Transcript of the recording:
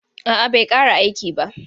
A'a bai ƙare aiki ba.